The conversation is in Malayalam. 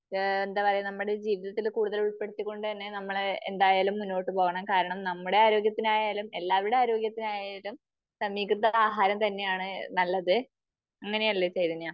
ഈ എന്താ പറയാ നമ്മുടെ ജീവിതത്തിൽ കൂടുതൽ ഉൾപ്പെടുത്തി കൊണ്ട് തന്നെ നമ്മള് എന്തായാലും മുന്നോട്ട് പോകണം. കാരണം നമ്മുടെ ആരോഗ്യത്തിനായാലും എല്ലാരുടെ ആരോഗ്യത്തിനായാലും സമീകൃത ആഹാരം തന്നെ ആണ് നല്ലത്. അങ്ങനെ അല്ലേ ചൈതന്യ?